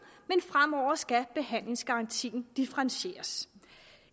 men fremover skal behandlingsgarantien differentieres